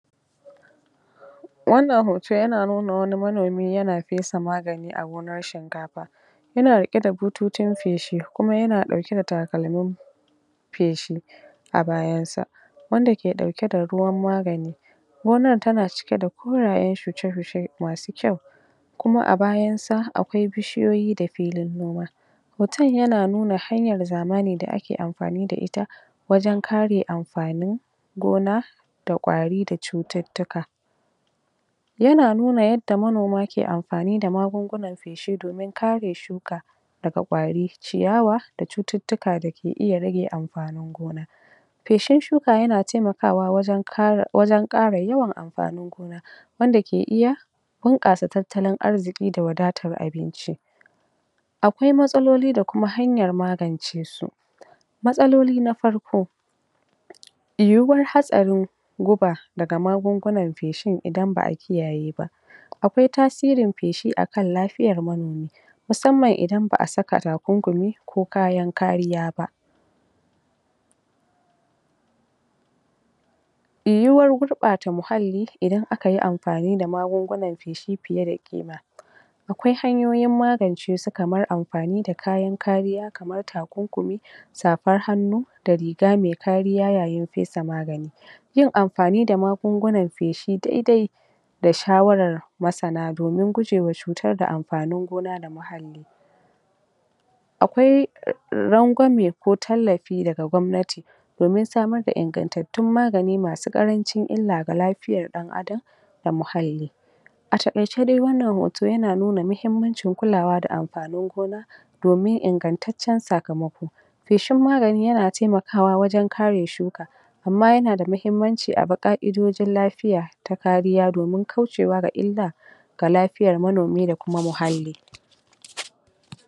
wannan hoto yana nuna wani manomi yana fesa magani a gonar shinkafa yana riƙe da butocin feshi kuma yana ɗauke da takalmin feshi a bayan sa wanda ke ɗauke da ruwan magani gonar tana cike da korayen shuke-shuke masu kyau kuma a bayan sa akwai bishiyoyi da filin noma hoton yana nuna hanyar zamani da ake amfani da ita wajen kare amfain gona da ƙwari da cututtuka yana nuna yadda manoma ke amfani da magungunan feshi domin kare shuka daga ƙwari ciyawa da cututtuka da ke iya rage amfanin gona feshin shuka yana temakawa wajen ƙara yawan amfanin gona wanda ke iya bunƙasa tattalin arziƙi da wadatan abinci akwai matsaloli da kuma hanyar magance su matsaloli na farko yiwuwar hatsarin guba daga magungunan feshin idan ba'a kiyaye ba akwai tasirin feshi akan lafiyar manomi musamman idan ba'a saka takunkumi ko kayan kariya ba yiwuwar gurɓata muhalli idan akayi amfani da magungunan feshi fiye da ƙima akwai hanyoyin magance su kamar amfani da kayan kariya kamar takunkumi safar hannu da riga me kariya yayin fesa magani yin amfani da magungunan feshi dai-dai da shawarar masana domin gujewa cutar da amfanin gona da muhalli akwai rangwami ko tallafi daga gwamnati domin samar da ingantattun magani masu ƙarancin illa ga lafiyar ɗan Adam da muhalli a taƙaice dai wannan hoto ya na nuna muhimmancin kulawa da amfanin gona domin ingantaccen sakamako feshin magani yana temakawa wajen kare shuka amma yana da mahimmanci abi ƙaidodin lafiya ta kariya domin kaucewa ga illa ga lafiyar manomi da kuma muhalli